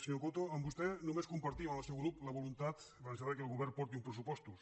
senyor coto amb vostè només compartim amb el seu grup la voluntat la necessitat que el govern porti uns pressupostos